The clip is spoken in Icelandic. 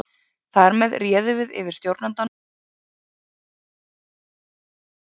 Þar með réðum við yfir stjórnandanum og ímynduðum okkur bara að réði yfir okkur.